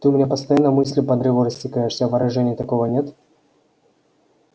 ты у меня постоянно мыслью по древу растекаешься а выражения такого нет